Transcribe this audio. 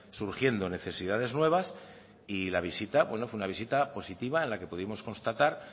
surgiendo necesidades nuevas y la visita bueno fue una visita positiva en la que pudimos constatar